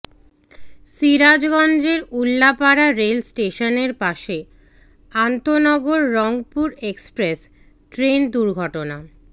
সিরাজগঞ্জের উল্লাপাড়া রেল স্টেশনের পাশে আন্তঃনগর রংপুর এক্সপ্রেস ট্রেন দুর্ঘটনা